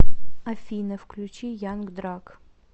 афина включи янг драг